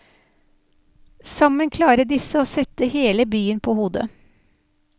Sammen klarer disse å sette hele byen på hodet.